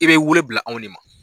I bɛ wele bila anw de ma